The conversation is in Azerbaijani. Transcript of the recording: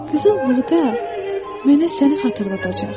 Qızıl burda mənə səni xatırladacaq.